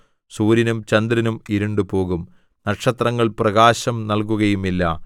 സൂര്യനും ചന്ദ്രനും ഇരുണ്ടുപോകും നക്ഷത്രങ്ങൾ പ്രകാശം നല്കുകയുമില്ല